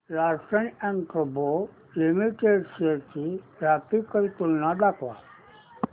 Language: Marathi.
लार्सन अँड टुर्बो लिमिटेड शेअर्स ची ग्राफिकल तुलना दाखव